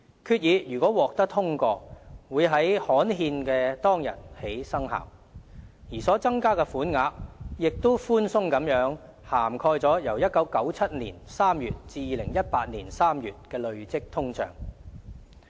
決議如獲通過，會在刊憲當天起生效，而所增加的款額亦寬鬆地涵蓋了由1997年3月至2018年3月的累積通脹。